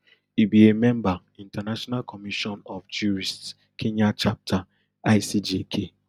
e be a member international commission of jurists kenya chapter icjk